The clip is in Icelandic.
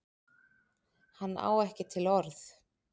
Hann á ekki til orð.